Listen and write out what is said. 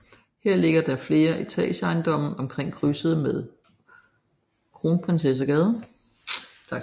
Her ligger der flere etageejendomme omkring krydset med Kronprinsessegade